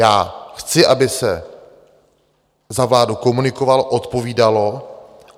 Já chci, aby se za vládu komunikovalo, odpovídalo.